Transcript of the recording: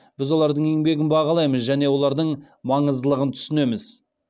біз олардың еңбегін бағалаймыз және олардың маңыздылығын түсінеміз